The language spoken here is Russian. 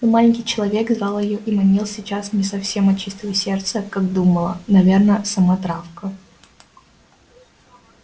но маленький человек звал её и манил сейчас не совсем от чистого сердца как думала наверно сама травка